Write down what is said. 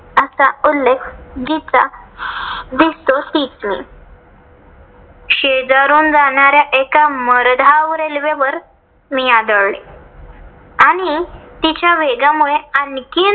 चा उल्लेख जिचा दिसतो तीच मी. शेजारून जाणाऱ्या एका भरधाव रेल्वेवर मी आदळले आणि तिच्या वेगामुळे आणखीन